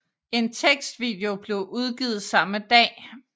En tekstvideo blev udgivet samme dag